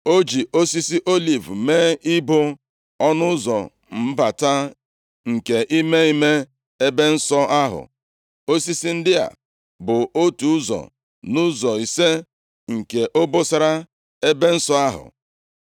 O ji osisi oliv mee ibo ọnụ ụzọ mbata nke ime ime ebe nsọ ahụ, osisi ndị a bụ otu ụzọ nʼụzọ ise nke obosara ebe nsọ ahụ.